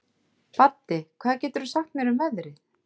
Baddi, hvað geturðu sagt mér um veðrið?